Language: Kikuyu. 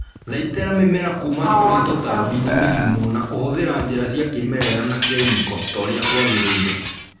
Thaitĩra mĩmera kuma kũri tũtambi na mĩrimũ na kũhũthĩra njĩra cia kĩmerera na kĩmĩko torĩa kwagĩrĩire